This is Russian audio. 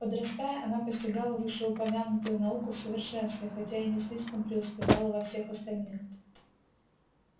подрастая она постигала вышеупомянутую науку в совершенстве хотя и не слишком преуспевала во всех остальных